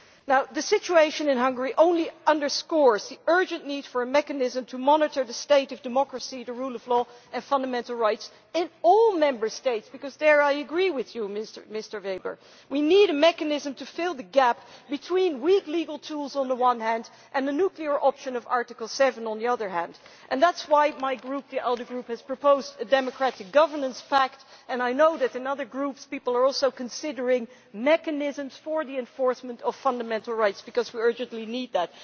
Now the situation in Hungary only underscores the urgent need for a mechanism to monitor the state of democracy, the rule of law and fundamental rights in all Member States because and there I agree with you, Mr Weber we need a mechanism to fill the gap between weak legal tools on the one hand, and the nuclear option of Article 7 on the other hand, and that is why my Group, the ALDE Group, has proposed a democratic governance pact, and I know that in other groups people are also considering mechanisms for the enforcement of fundamental rights, because we urgently need that.